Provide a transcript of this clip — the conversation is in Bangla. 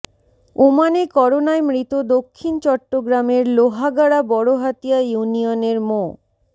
ওমানে করোনায় মৃত দক্ষিণ চট্টগ্রামের লোহাগাড়া বড়হাতিয়া ইউনিয়নের মো